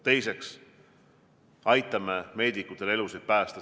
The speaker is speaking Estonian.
Teiseks, aitame meedikutel elusid päästa.